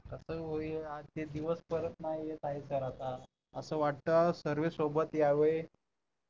असं होई आज ते दिवस परत नाही येत आहेत तर आता असं वाटत सर्वे सोबत यावे